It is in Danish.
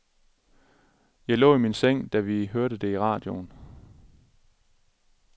Jeg lå i min seng, da vi hørte det i radioen.